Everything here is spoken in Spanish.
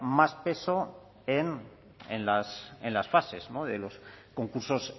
más peso en las fases de los concursos